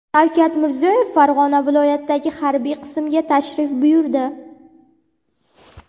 Shavkat Mirziyoyev Farg‘ona viloyatidagi harbiy qismga tashrif buyurdi.